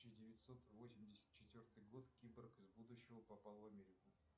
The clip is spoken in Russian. тысяча девятьсот восемьдесят четвертый год киборг из будущего попал в америку